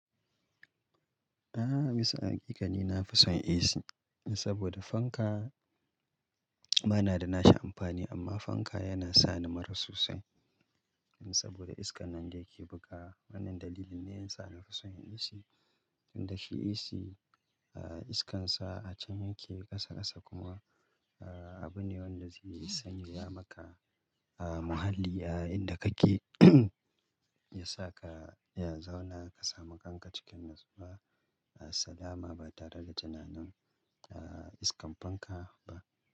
A'a, bisa hakikani na fi son AC saboda fanka ba na da nashi amfani amma fanka yana sa ni mura sosai saboda iskan nan da yake buga. Wannan dalilin ne yasa na fi son yin AC. Inda shi AC, ah iskan sa a can yake ƙasa ƙasa kuma ah abu ne wanda zai sanya ya maka ah muhalli ah inda kake ya sa ka ya zauna ka samu kanka cikin natsuwa. Ah salama ba tare da tunanin ah iskan fanka ba.